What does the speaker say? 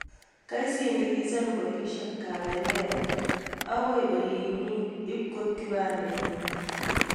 Kasindikishan polishiek Kabendera agoi olinyii ipkoip kipandeit nenyi